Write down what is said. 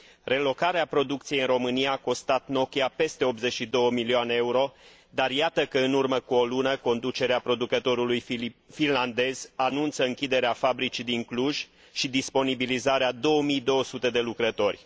Relocarea producției în România a costat Nokia peste 82 milioane euro, dar iată că în urmă cu o lună, conducerea producătorului finlandez anunță închiderea fabricii din Cluj și disponibilizarea a 2200 de lucrători.